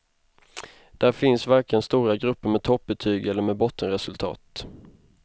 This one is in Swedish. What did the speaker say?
Där finns varken stora grupper med toppbetyg eller med bottenresultat.